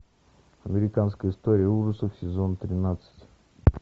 американская история ужасов сезон тринадцать